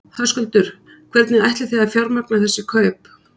Höskuldur: Hvernig ætlið þið að fjármagna þessi kaup?